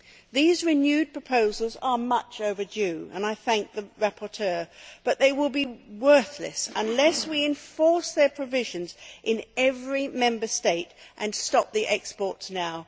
These renewed proposals are much overdue and I thank the rapporteur but they will be worthless unless we enforce their provisions in every Member State and stop the exports now.